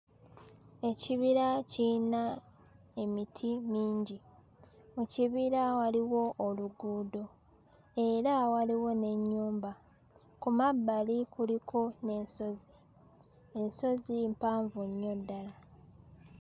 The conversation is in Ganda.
Ekibira kiyina emiti mingi. Mu kibira waliwo oluguudo era waliwo n'ennyumba. Ku mabbali kuliko n'ensozi; ensozi mpanvu nnyo ddala.